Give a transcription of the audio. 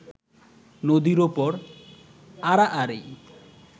নদীর ওপর আড়াআড়ি